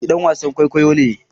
Ni ɗan wasan kwaikwayo ne